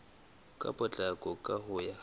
ka potlako ka ho ya